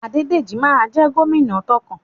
Adédèjí ma jẹ́ gómìnà tókàn.